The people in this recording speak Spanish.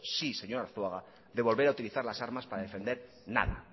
sí señor arzuaga de volver a utilizar las armas para defender nada